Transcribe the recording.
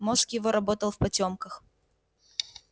мозг его работал в потёмках